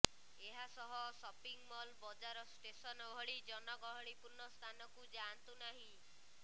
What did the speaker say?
ଏହାସହ shopping mall ବଜାର station ଭଳି ଜନଗହଳିପୂର୍ଣ୍ଣ ସ୍ଥାନକୁ ଯାଆନ୍ତୁ ନାହିଁ